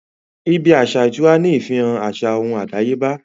ibí aṣa ìtura ní ìfihàn àṣà ohùn àdáyébá